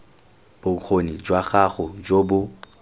bokgoni jwa gago jo bo